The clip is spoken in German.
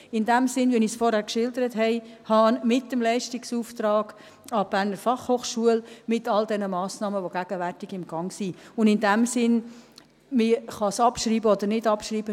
In diesem Sinne, wie ich es vorhin geschildert habe: Mit dem Leistungsauftrag an die BFH, mit all diesen Massnahmen, die gegenwärtig im Gange sind, kann man es in diesem Sinne abschreiben oder nicht abschreiben.